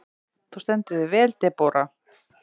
Þú stendur þig vel, Debóra!